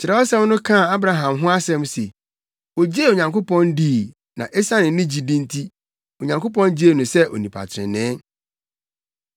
Kyerɛwsɛm no kaa Abraham ho asɛm se, “Ogyee Onyankopɔn dii na esiane ne gyidi nti, Onyankopɔn gyee no sɛ onipa trenee.”